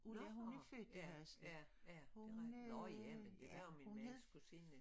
Nåh ja ja ja nåh ja men det der er min mands kusine